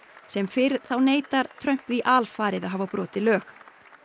sem fyrr þá neitar Trump því alfarið að hafa brotið lög